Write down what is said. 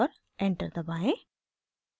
enter दबाएं